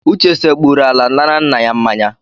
Uche sekpuuru ala nara nna ya mmanya.